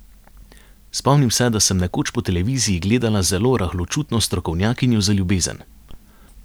Spomnim se, da sem nekoč po televiziji gledala zelo rahločutno strokovnjakinjo za ljubezen.